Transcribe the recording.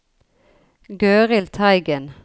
Gøril Teigen